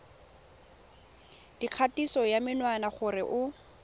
dikgatiso ya menwana gore o